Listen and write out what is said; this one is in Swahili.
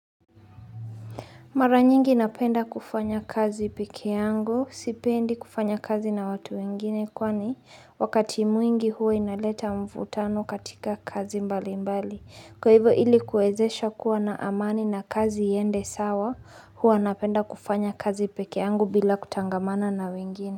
Mara nyingi napenda kufanya kazi peke yangu sipendi kufanya kazi na watu wengine kwani wakati mwingi huwa inaleta mvutano katika kazi mbali mbali kwa hivyo ilikuwezesha kuwa na amani na kazi iende sawa huwa napenda kufanya kazi peke yangu bila kutangamana na wengine.